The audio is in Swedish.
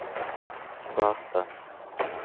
svarta